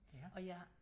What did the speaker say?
Og jeg